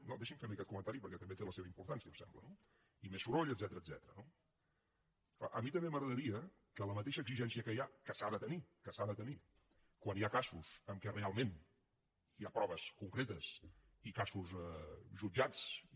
no deixi’m ferli aquest comentari perquè també té la seva importància em sembla no i més soroll etcètera no clar a mi també m’agradaria que la mateixa exigència que hi ha que s’ha de tenir que s’ha de tenir quan hi ha casos en què realment hi ha proves concretes i casos jutjats i